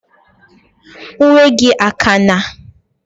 Uwe gi akana?